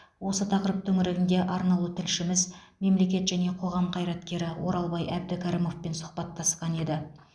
осы тақырып төңірегінде арнаулы тілшіміз мемлекет және қоғам қайраткері оралбай әбдікәрімовпен сұхбаттасқан еді